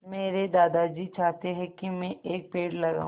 मेरे दादाजी चाहते हैँ की मै एक पेड़ लगाऊ